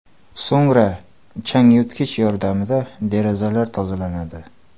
So‘ngra changyutgich yordamida derazalar tozalanadi.